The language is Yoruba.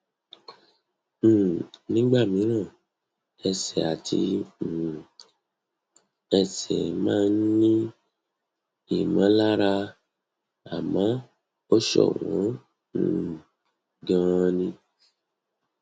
um nígbà mìíràn ẹsẹ àti um ẹsẹ máa ń ní ìmọlára àmọ ó ṣọwọn um ganan